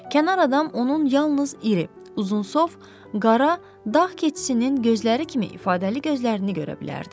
Kənar adam onun yalnız iri, uzunsov, qara dağ keçisinin gözləri kimi ifadəli gözlərini görə bilərdi.